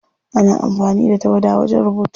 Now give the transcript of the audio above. Ana amfani da tawada wajen rubutu.